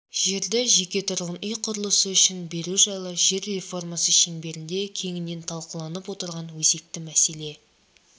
жерді жеке тұрғын үй құрылысы үшін беру жайы жер реформасы шеңберінде кеңінен талқыланып отырған өзекті мәселе